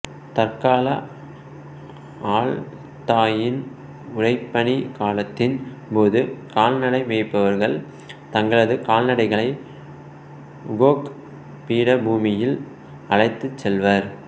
தற்கால அல்த்தாயின் உறைபனி காலத்தின் போது கால்நடைமேய்ப்பவர்கள் தங்களது கால்நடைகளை உகோக் பீடபூமியில் அழைத்துச் செல்வர்